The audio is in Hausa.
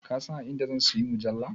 Ka san a inda zan siyi mujalla?